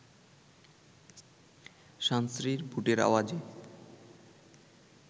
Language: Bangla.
সান্ত্রীর বুটের আওয়াজে